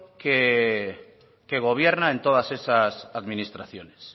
que gobierna en todas esas administraciones